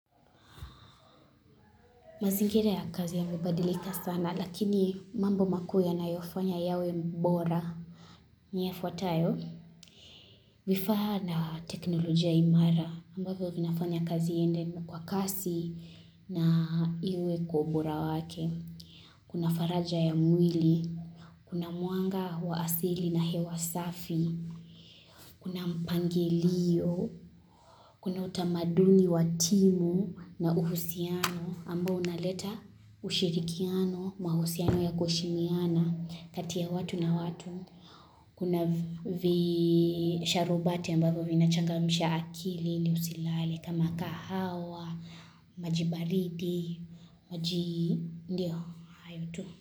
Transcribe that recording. Mazingira ya kazi yamebadilika sana, lakini mambo makuu yanayofanya yawe mbora. Ni yafuatayo, vifaa na teknolojia imara ambapo vinafanya kazi iyende kwa kasi na iwe kwa ubora wake. Kuna faraja ya mwili, kuna mwanga wa asili na hewa safi, kuna mpangilio, Kuna utamaduni wa timu na uhusiano ambao unaleta ushirikiano mahusiano ya kuheshimiana kati ya watu na watu. Kuna visharubati ambavyo vinachangamsha akili ili usilale kama kahawa, majibaridi, maji ndio hayo tu.